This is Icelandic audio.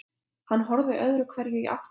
Hann horfði öðru hverju í áttina að